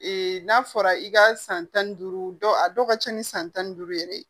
n'a fɔra i ka san tan ni duuru dɔw a dɔw ka ca ni san tan ni duuru yɛrɛ ye